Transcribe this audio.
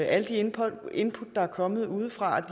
alle de input input der er kommet udefra